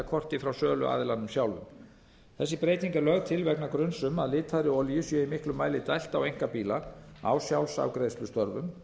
viðskiptakorti frá söluaðilanum sjálfum þessi breyting er lögð til vegna gruns um að litaðri olíu sé í miklum mæli dælt á einkabíla á sjálfsafgreiðslustöðvum